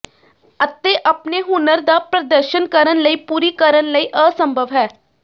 ਅਤੇ ਆਪਣੇ ਹੁਨਰ ਦਾ ਪ੍ਰਦਰਸ਼ਨ ਕਰਨ ਲਈ ਪੂਰੀ ਕਰਨ ਲਈ ਅਸੰਭਵ ਹੈ